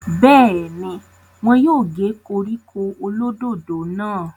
bẹ́ẹ̀ni, wọn yóò gé koríko olódòdó náà